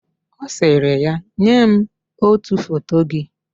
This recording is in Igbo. Ọ sịrị ya, "nye m ótù foto gị"!